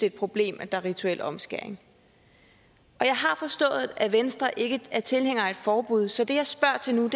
et problem at der er rituel omskæring jeg har forstået at venstre ikke er tilhænger af et forbud så det jeg spørger til nu er